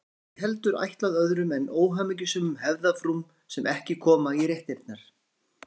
Það er ekki heldur ætlað öðrum en óhamingjusömum hefðarfrúm sem ekki koma í réttirnar.